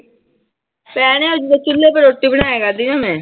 ਭੈਣੇ ਜਦੋਂ ਚੁੱਲੇ ਤੇ ਰੋਟੀ ਬਣਾਇਆ ਕਰਦੀ ਸੀ ਮੈਂ।